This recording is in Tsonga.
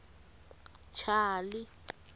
chali